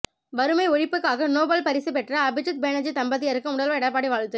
வறுமை ஒழிப்புக்காக நோபல் பரிசு பெற்ற அபிஜித் பேனர்ஜி தம்பதியருக்கு முதல்வர் எடப்பாடி வாழ்த்து